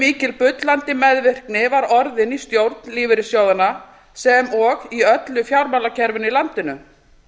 mikil bullandi meðvirkni var orðin í stjórn lífeyrissjóðanna sem og í öllu fjármálakerfinu í landinu